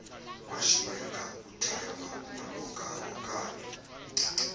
washiyeka uthemba emhokamhokana